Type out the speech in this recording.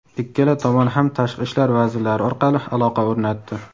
Ikkala tomon ham tashqi ishlar vazirlari orqali aloqa o‘rnatdi.